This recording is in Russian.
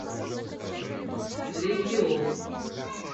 легион